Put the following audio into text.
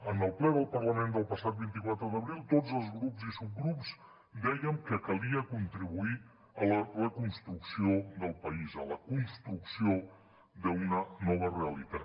en el ple del parlament del passat vint quatre d’abril tots els grups i subgrups dèiem que calia contribuir a la reconstrucció del país a la construcció d’una nova realitat